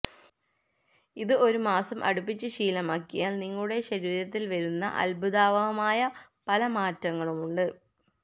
ഇത് ഒരു മാസം അടുപ്പിച്ചു ശീലമാക്കിയാല് നിങ്ങളുടെ ശരീരത്തില് വരുന്ന അദ്ഭുതാവഹമായ പല മാറ്റങ്ങളുമുണ്ട്